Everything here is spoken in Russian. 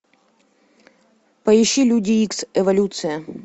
поищи люди икс эволюция